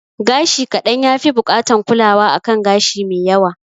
Gashi kaɗan ya fi bukatan kulawa a kan gashi me yawa